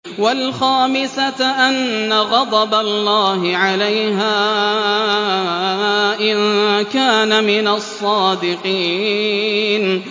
وَالْخَامِسَةَ أَنَّ غَضَبَ اللَّهِ عَلَيْهَا إِن كَانَ مِنَ الصَّادِقِينَ